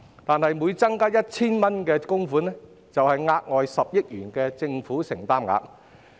但是，每增加 1,000 元供款，便相當於額外10億元的政府承擔額。